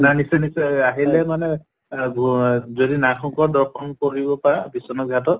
নাই নিশ্চয় নিশ্চয় আহিলে মানে অহ যদি নাগ শঙ্কৰ দৰ্শন কৰিব পাৰা বিশ্বনাথ ঘাটত